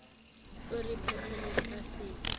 o re phethele ka se